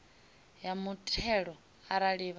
ya muthelo arali vha na